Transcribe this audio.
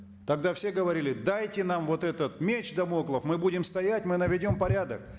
тогда все говорили дайте нам вот этот меч дамоклов мы будем стоять мы наведем порядок